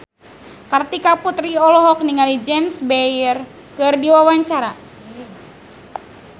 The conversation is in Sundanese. Kartika Putri olohok ningali James Bay keur diwawancara